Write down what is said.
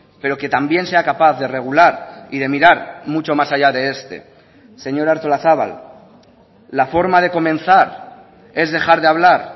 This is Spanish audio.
pero que también sea capaz de regular y de mirar mucho más allá de este señora artolazabal la forma de comenzar es dejar de hablar